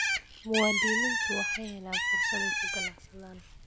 Muwaadiniintu waxay helaan fursad ay ku ganacsadaan.